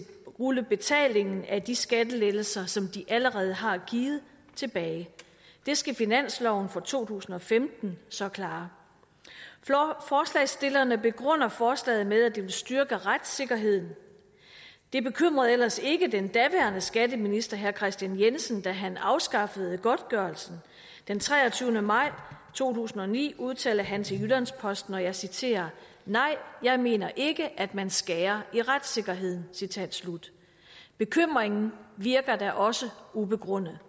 rulle betalingen af de skattelettelser som de allerede har givet tilbage det skal finansloven for to tusind og femten så klare forslagsstillerne begrunder forslaget med at det vil styrke retssikkerheden det bekymrede ellers ikke den daværende skatteminister herre kristian jensen da han afskaffede godtgørelsen den treogtyvende maj to tusind og ni udtalte han til jyllands posten og jeg citerer nej jeg mener ikke at man skærer i retssikkerheden bekymringen virker da også ubegrundet